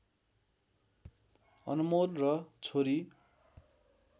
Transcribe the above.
अनमोल र छोरी